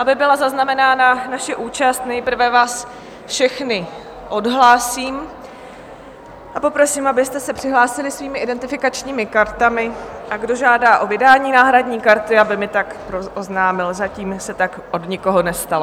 Aby byla zaznamenána naše účast, nejprve vás všechny odhlásím a poprosím, abyste se přihlásili svými identifikačními kartami, a kdo žádá o vydání náhradní karty, aby mi tak oznámil, zatím se tak od nikoho nestalo.